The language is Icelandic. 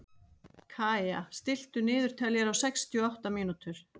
Kaía, stilltu niðurteljara á sextíu og átta mínútur.